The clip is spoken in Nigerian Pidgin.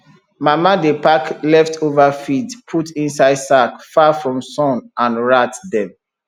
mama dey pack leftover feed put inside sack far from sun and rat dem